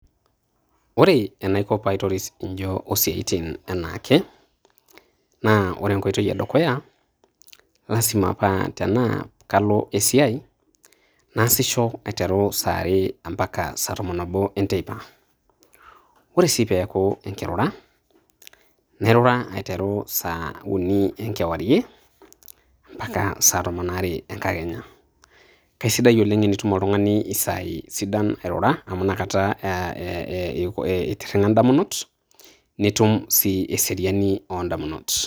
Ore enaiko pee aitoris ijio o siaitin enaake naa ore enkoitoi e dukuya. Lazima paa tenaa kalo esiai naasisho aiteru saa are ompaka saa tomon oobo e nteipa. Ore sii pee eeku enkirura nairura aiteru saa uni e nkewarie o mpaka saa tomon oare e enkakenya. Kaisidai oleng tenitum oltung`ani isaai sidan airura, amu inakata aah eeh itirring`a idamunot nitum sii eseriani oo n`damunot.